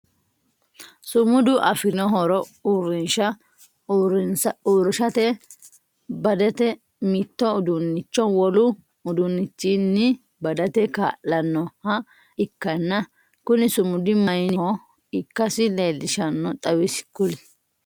Sumudu aforinno horo uurinsha uurinshate badate mitto uduunnicho wolu uduunichinni badate kaa'lanoha ikanna kunni sumudi mayinniho ikasi leelishano xawise kuli?